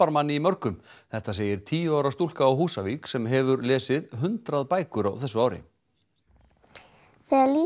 manni í mörgu þetta segir tíu ára stúlka á Húsavík sem hefur lesið hundrað bækur á þessu ári